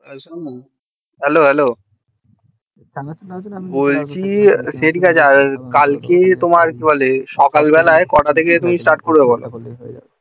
hello hello বলছি সকাল বেলায় তুমি কটা থেকে start করবে বোলো